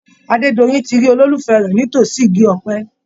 Adédoyin ti rí olólùfẹ́ rẹ̀ ní itòsí igi ọ̀pẹ.